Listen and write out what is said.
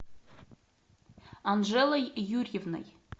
анжелой юрьевной